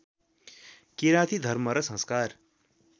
किराती धर्म र संस्कार